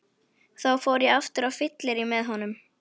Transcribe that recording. Þá fór ég aftur á fyllerí með honum.